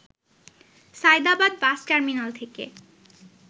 Sayedabad bus terminal থেকে